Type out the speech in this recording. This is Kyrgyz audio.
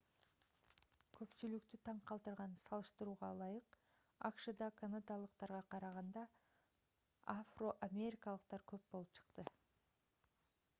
көпчүлүктү таң калтырган салыштырууга ылайык акшда канадалыктарга караганда афро-америкалыктар көп болуп чыкты